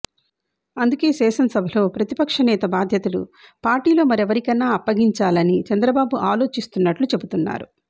అందుకే శాసనసభలో ప్రతిపక్షనేత బాధ్యతలు పార్టీలో మరెవరికన్నా అప్పగించాలని చంద్రబాబు ఆలోచిస్తున్నట్లు చెబుతున్నారు